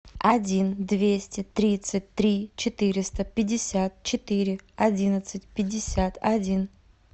один двести тридцать три четыреста пятьдесят четыре одиннадцать пятьдесят один